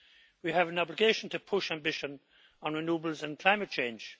We have an obligation to push our ambitions on renewables and climate change.